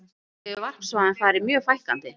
Auk þess hefur varpsvæðum farið mjög fækkandi.